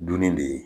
Dunni de ye